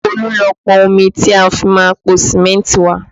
Olú lọ pọn omi tí a fi máa po Sìmẹ́ntì wá